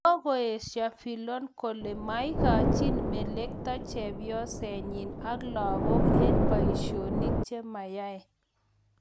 Kokoesyo Fillon kole maigachi melekto chebyosenyi ak lagook eng boisyonik che mayai